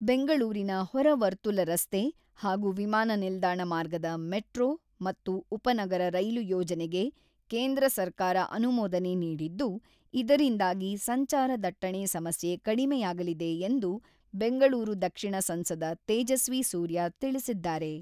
ಬೆಂಗಳೂರಿನ ಹೊರ ವರ್ತುಲ ರಸ್ತೆ ಹಾಗೂ ವಿಮಾನ ನಿಲ್ದಾಣ ಮಾರ್ಗದ ಮೆಟ್ರೋ ಮತ್ತು ಉಪ ನಗರ ರೈಲು ಯೋಜನೆಗೆ ಕೇಂದ್ರ ಸರ್ಕಾರ ಅನುಮೋದನೆ ನೀಡಿದ್ದು, ಇದರಿಂದಾಗಿ ಸಂಚಾರ ದಟ್ಟಣೆ ಸಮಸ್ಯೆ ಕಡಿಮೆಯಾಗಲಿದೆ ಎಂದು ಬೆಂಗಳೂರು ದಕ್ಷಿಣ ಸಂಸದ ತೇಜಸ್ವಿ ಸೂರ್ಯ ತಿಳಿಸಿದ್ದಾರೆ.